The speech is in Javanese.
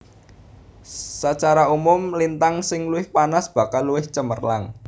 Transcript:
Sacara umum lintang sing luwih panas bakal luwih cemerlang